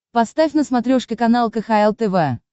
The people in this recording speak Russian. поставь на смотрешке канал кхл тв